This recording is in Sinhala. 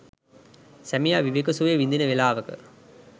සැමියා විවේක සුවය විදින වේලාවක